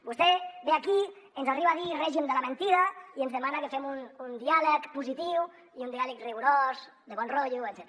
vostè ve aquí ens arriba a dir règim de la mentida i ens demana que fem un diàleg positiu i un diàleg rigorós de bon rotllo etcètera